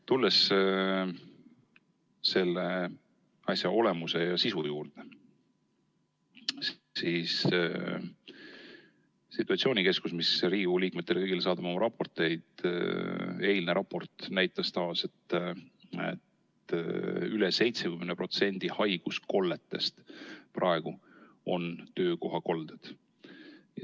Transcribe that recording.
Tulles selle asja olemuse ja sisu juurde, siis situatsioonikeskuse, mis saadab oma raporteid Riigikogu liikmetele, eilne raport näitas tavaliselt, et üle 70% haiguskolletest on praegu töökohakolded.